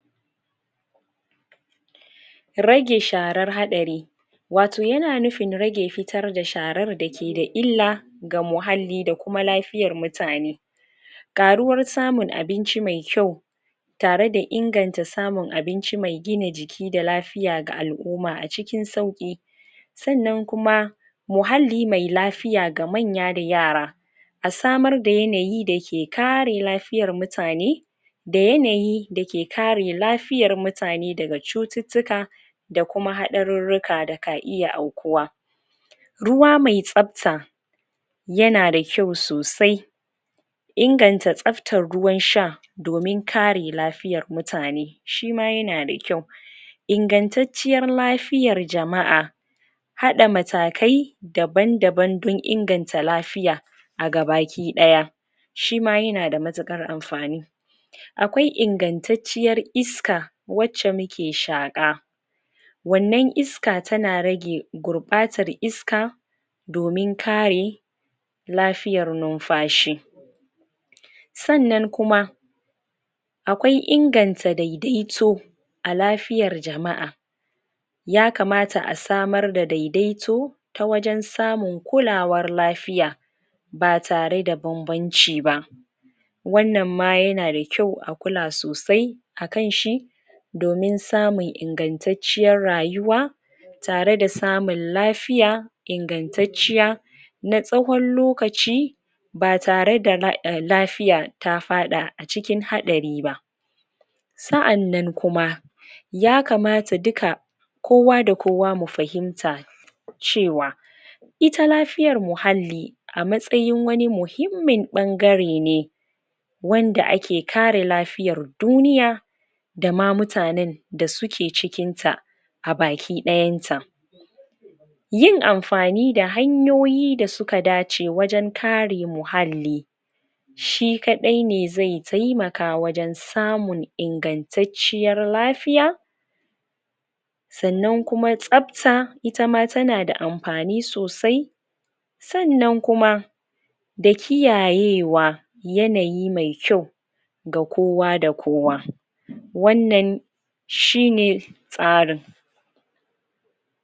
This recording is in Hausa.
rage sharar hadari wato yana nufin rage fitar da sharar da ke da illa ga muhalli da kuma lafiyar mutane karuwar samun abinci me kyau tare da inganta samun abinci me kyau mai gina jiki da lafiya ga al'umma a cikin sauki sannan kuma muhalli me lafiya ga manya da yara a samar da yanayi da ke kare lafiyar mutane da yanayi da ke kare lafiyar mutane daga cututtuka da kuma hadarurruka da ka iya faruwa ruwa mai tsabta yana da kyau sosai inganta tsabtan ruwan sha domin kare lafiyar mutane shi ma yana da kyau ingantacciyar lafiyar jama'a hada matakai daban daban don inganta lafiya a gaba ki daya shi ma yana da matukar amfani akwai ingantacciyar iska wacce muke shaqa wannan iska tana rage gurbatar iska domin kare lafiyar numfashi sannan kuma akwai inganta daidaito a lafiyar jama'a ya kamata a samar da daidaito ta wajen samun kulawar lafiya ba tare da banbanci ba wannan ma yana da kyau a kula sosai akanshi domin samun ingantaciyyar rayuwa tare da samun lafiya ingantacciya na tsawon lokaci ba tare da lafiya ba ta fada acikin hadari ba sa'annan kuma ya kamata duka kowa da kowa mu fahimta cewa ita lafiyar muhalli a matsayin wani muhimmin bangare ne wanda ake kare lafiyar duniya da ma mutanen da suke cikin ta a baki dayan ta yin mafani da hanyoyi da suka dace wajen kare muhalli shi kadai ne zai taimaka wajen samun ingantacciyar lafiya sannan kuma tsab ta itama tana da amfani sosai sannan kuma da kiyayewa yanayi me kyau ga kowa da kowa wannan shine tsarin